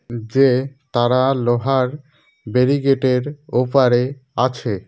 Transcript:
যে তারা লোহার ব্যারিকেডের ওপারে আছে।